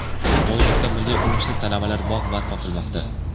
Mo‘ynoqda Milliy universitet talabalari bog‘ barpo qilmoqda.